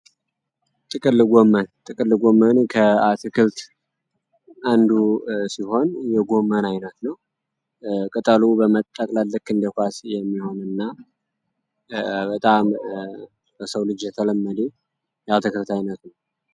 ጥቅል ጎመን ጥቅል ጎመን ከአትክልት አንዱ ሲሆን የጎመን አይናት ነው። ቅጠሉ በመጠቅለል ልክ እንደ ኳስ የሚሆን እና በጣም ለሰው ልጅ የተለመደ ያትክልት አይነት ነው።